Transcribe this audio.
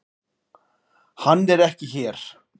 Hann er ekki hér.